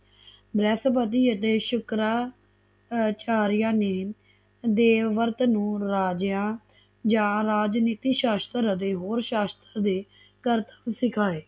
ਬ੍ਰਹਿਸਪਤੀ ਅਤੇ ਸ਼ੁਕਰਚਰਆ ਨੇ ਦੇਵਵਰਤ ਨੂੰ ਰਜੇਆ ਜਾ ਰਾਜਨੀਤੀ ਸ਼ਾਸਤਰ ਅਤੇ ਹੋਰ ਸ਼ਾਸਤਰ ਦੇ ਕਰਤਬ ਸਿਖਾਏ